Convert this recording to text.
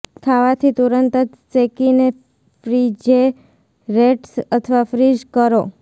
ખાવાથી તુરંત જ શેકીને ફ્રીજિરેટ્સ અથવા ફ્રીઝ કરો